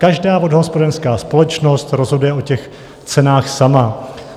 Každá vodohospodářská společnost rozhoduje o těch cenách sama.